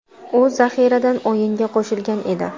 U zaxiradan o‘yinga qo‘shilgan edi.